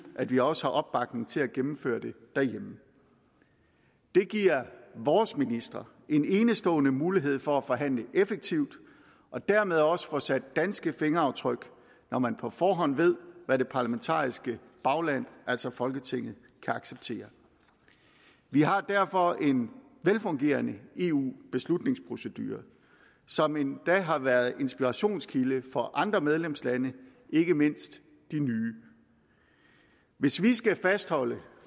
at vi også har opbakning til at gennemføre det derhjemme det giver vores ministre en enestående mulighed for at forhandle effektivt og dermed også få sat danske fingeraftryk når man på forhånd ved hvad det parlamentariske bagland altså folketinget kan acceptere vi har derfor en velfungerende eu beslutningsprocedure som endda har været en inspirationskilde for andre medlemslande ikke mindst de nye hvis vi skal fastholde